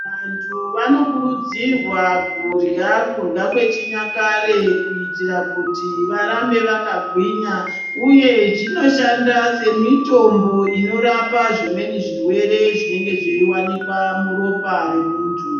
Vantu vanokurudzirwa kurya zvechinyakare kuitira varambe vakagwinya uye zvinoshanda semutombo inorapa zvimweni zvirwere zvinenge zveiwanikwa muropa memuntu.